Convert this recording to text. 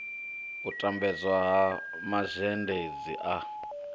u lambedzwa ha mazhendedzi a